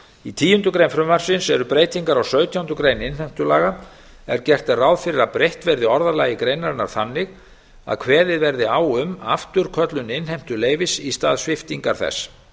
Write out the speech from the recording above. í tíundu greinar frumvarpsins eru breytingar á sautjándu grein innheimtulaga er gert er ráð fyrir að breytt verði orðalagi greinarinnar þannig að kveðið verði á um afturköllun innheimtuleyfis í stað sviptingar þess